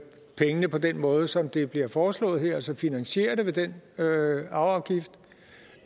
pengene på den måde som det bliver foreslået her altså finansiere det ved den arveafgift